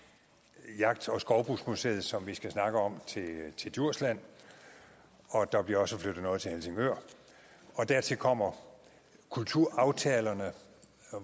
jagt og skovbrugsmuseum som vi skal snakke om til djursland og der bliver også flyttet noget til helsingør og dertil kommer kulturaftalerne